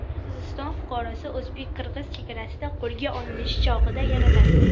Qirg‘iziston fuqarosi o‘zbek-qirg‘iz chegarasida qo‘lga olinish chog‘ida yaralandi.